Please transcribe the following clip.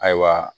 Ayiwa